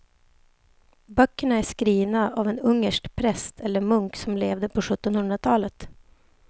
Böckerna är skrivna av en ungersk präst eller munk som levde på sjuttonhundratalet.